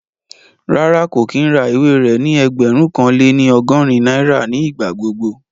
Rárá, kò kí ń ra ìwé rẹ ní ẹgbẹ̀rún kan lé ní ọgọ́rin náírà ní ìgbà gbogbo